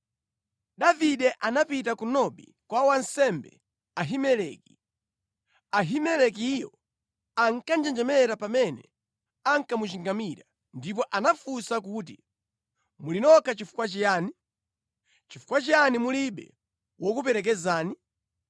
Davide anapita ku Nobi kwa wansembe Ahimeleki. Ahimelekiyo ankanjenjemera pamene ankamuchingamira, ndipo anafunsa kuti, “Muli nokha chifukwa chiyani? Chifukwa chiyani mulibe wokuperekezani?”